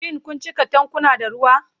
Shin kun cika tankuna da ruwa?